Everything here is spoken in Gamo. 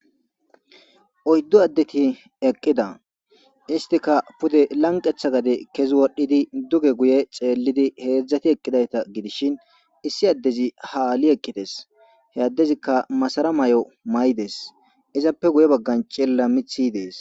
oyddu addeti eqqida istika pude lanqetha gade kezi wodhdhidi duge guye xeellidi heedzdzati eqqidayta gidishin issi addezi haali eqqides he addezikka masara may7o may7des izappe guye baggan cella mithy dees